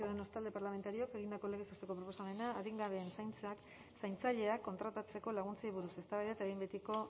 ciudadanos talde parlamentarioak egindako legez besteko proposamena adingabeen zaintzaileak kontratatzeko laguntzei buruz eztabaida eta behin betiko